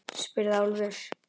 spurði Álfur.